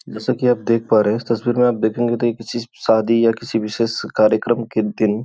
जैसा कि आप देख पा रहे है इस तस्वीर में आप देखेगे तो ये किसी की शादी या किसी विशेष कर्यक्रम के दिन --